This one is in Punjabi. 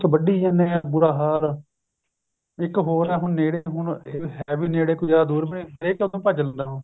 ਵੱਡੀ ਜਾਂਦੇ ਆ ਬੁਰਾ ਹਾਲ ਇੱਕ ਹੋਰ ਆ ਹੁਣ ਨੇੜੇ ਆ ਹੁਣ ਹੈ ਵੀ ਨੇੜੇ ਕੋਈ ਜਿਆਦਾ ਦੁਰ ਵੀ ਨੀ ਹਰੇਕ ਹੀ ਭੱਜ ਲੈਂਦਾ ਹੁਣ